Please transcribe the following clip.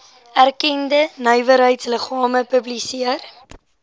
erkende nywerheidsliggame publiseer